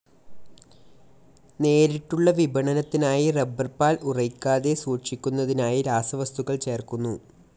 നേരിട്ടുള്ള വിപണനത്തിനായി റബ്ബർ പാൽ ഉറയ്ക്കാതെ സൂക്ഷിക്കുന്നതിനായി രാസവത്ക്കൾ ചേർക്കുന്നു.